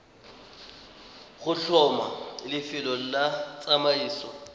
go tlhoma lefelo la tsamaiso